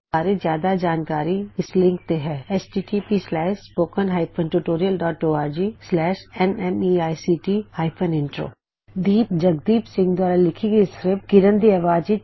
ਇਸ ਬਾਰੇ ਜਿਆਦਾ ਜਾਣਕਾਰੀ ਇਸ ਲਿੰਕ ਤੇ ਉਪਲਬੱਧ ਹੈ httpspoken tutorialorgNMEICT Intro ਇਹ ਟਿਊਟੋਰਿਅਲ ਦੀਪ ਜਗਦੀਪ ਸਿੰਘ ਦੁਆਰਾ ਲਿਖੀ ਸਕ੍ਰਿਪਟ ਅਤੇ ਮਨਪ੍ਰੀਤ ਕੌਰ ਦੀ ਆਵਾਜ਼ ਵਿਚ ਦ ਸਾਊਂਡ ਫਾਊਂਡੇਸਨਜ਼ ਨਵੀਂ ਦਿੱਲੀ ਵੱਲੋ ਤਿਆਰ ਕੀਤਾ ਗਿਆ ਹੈ